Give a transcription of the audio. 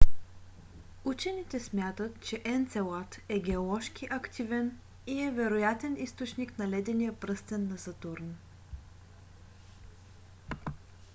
учените смятат че енцелад е геоложки активен и е вероятен източник на ледения е пръстен на сатурн